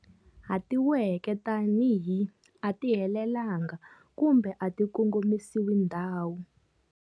Hatiweke tanihi 'a ti helelanga' kumbe 'a ti kongomisi ndhawu'.